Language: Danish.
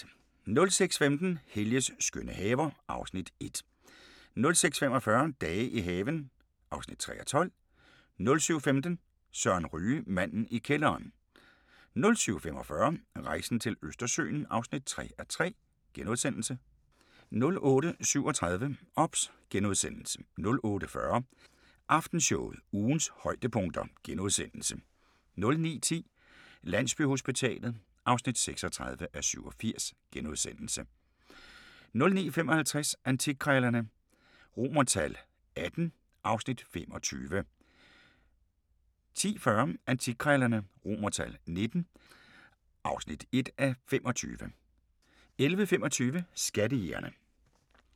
06:15: Helges skønne haver (Afs. 1) 06:45: Dage i haven (3:12) 07:15: Søren Ryge: Manden i kælderen 07:45: Rejsen til Østersøen (3:3)* 08:37: OBS * 08:40: Aftenshowet – ugens højdepunkter * 09:10: Landsbyhospitalet (36:87)* 09:55: Antikkrejlerne XVIII (Afs. 25) 10:40: Antikkrejlerne XVIIII (1:25) 11:25: Skattejægerne